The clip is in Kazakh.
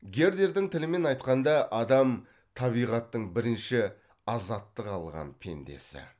гердердің тілімен айтқанда адам табиғаттың бірінші азаттық алған пендесі